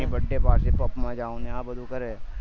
birthday party puff ને આ બધુ ન કરે